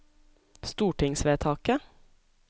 stortingsvedtaket